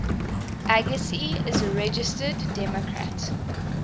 agassi is a registered democrat